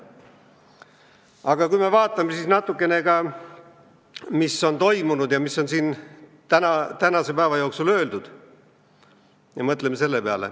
Aga vaatame natukene ka, mis on toimunud ja mis on siin tänase päeva jooksul öeldud!